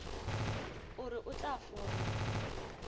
o re o tla fola